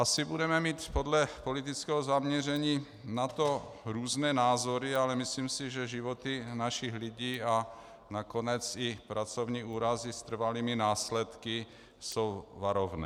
Asi budeme mít podle politického zaměření na to různé názory, ale myslím si, že životy našich lidí, a nakonec i pracovní úrazy s trvalými následky jsou varovné.